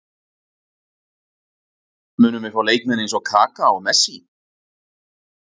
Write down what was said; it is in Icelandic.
Munum við fá leikmenn eins og Kaka og Messi?